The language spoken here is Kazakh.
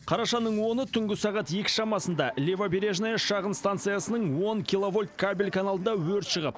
қарашаның оны түнгі сағат екі шамасында левобережная шағын станциясының он киловольт кабель каналында өрт шығып